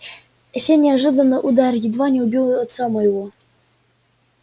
сей неожиданный удар едва не убил отца моего